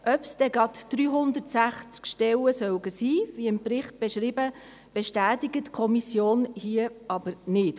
Ob es gleich 360 Stellen sein müssen, wie im Bericht beschrieben, bestätigt die Kommission hier aber nicht.